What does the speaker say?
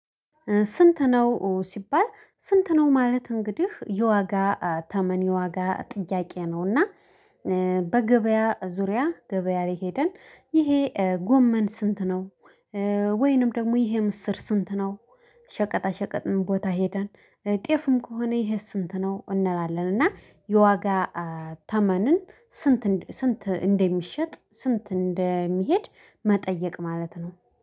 ስንት ነው ሲባል? ስንት ነው ማለት እንግዲህ የዋጋ ተመን የዋጋ ጥያቄ ነውና። እና በገበያ ዙሪያ ገበያ ላይ ሄደን ይሄ ጎመን ስንት ነው? ወይንም ደግሞ ይሄ ምስር ስንት ነው? ሸቀጣ ሸቀጥም ቦታ ሄደን ጤፍም ከሆነ ይሄስ ስንት ነው እንላለን? እና የዋጋ ተመንን ስንት ስንት እንደሚሸጥ ስንት እንደሚሄድ መጠየቅ ማለት ነው